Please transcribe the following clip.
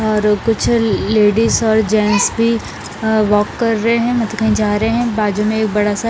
और कुछ लेडीज और गेंट्स वगेरा भी वाक कर रहे हैं मतलब कही जा रहे हैं बाजू में एक बड़ा सा--